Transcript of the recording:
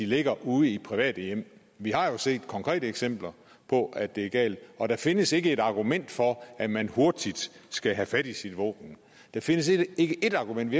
ligge ude i private hjem vi har jo set konkrete eksempler på at det er galt og der findes ikke ét argument for at man hurtigt skal have fat i sit våben der findes ikke ét argument